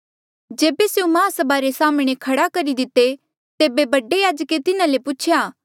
जेबे स्यों माहसभा रे साम्हणें खड़ा करी दिते तेबे बडे याजके तिन्हा ले पूछेया